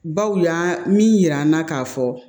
Baw y'a minan na k'a fɔ